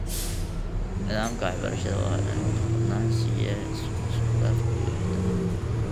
Nidaamka waxbarashada waa in uu mudnaan siiyaa isku-dhafka iyo ixtiraamka.